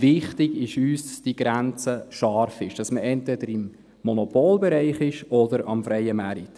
Wichtig ist uns aber, dass diese Grenze scharf ist, dass man entweder im Monopolbereich ist oder auf dem freien Markt.